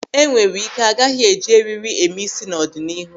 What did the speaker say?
E nwere ike agaghị eji eriri eme ịsị n'ọdịnihu.